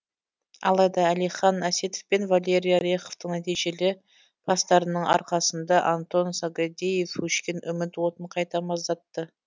алайда әлихан әсетов пен валерий ореховтың нәтижелі пастарының арқасында антон сагадеев өшкен үміт отын қайта маздатты